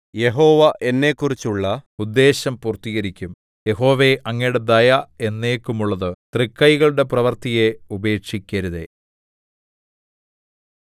യഹോവ എന്നെക്കുറിച്ചുള്ള ഉദ്ദേശ്യം പൂർത്തികരിക്കും യഹോവേ അങ്ങയുടെ ദയ എന്നേക്കുമുള്ളത് തൃക്കൈകളുടെ പ്രവൃത്തിയെ ഉപേക്ഷിക്കരുതേ